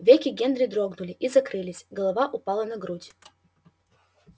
веки генри дрогнули и закрылись голова упала на грудь